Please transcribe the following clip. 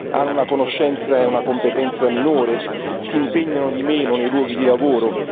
Hanno una conoscenza e una competenza minore? Si impegnano di meno nei luoghi di lavoro?